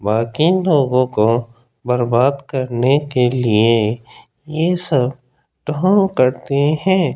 बाकी लोगों को बर्बाद करने के लिए ये सब ढोंग करते है।